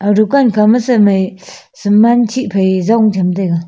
aga dukan kha ma se mei saman shi pahi jong tham taga.